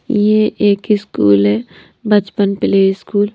यह एक स्कूल है बचपन प्ले स्कूल। --